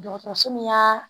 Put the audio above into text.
Dɔgɔtɔrɔso min y'a